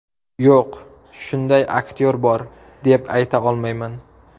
Yo‘q, shunday aktyor bor deb ayta olmayman.